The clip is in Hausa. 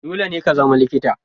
Dole ne ka zama likita.